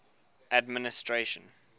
administration